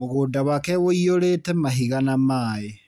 Mũgũnda wake wũiyũrĩte mahiga na maĩ.